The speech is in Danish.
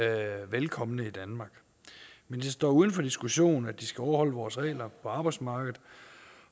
er velkomne i danmark men det står uden for diskussion at de skal overholde vores regler på arbejdsmarkedet